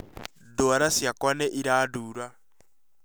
Ndwara ciakwa nĩ irandura